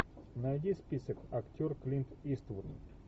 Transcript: найди список актер клинт иствуд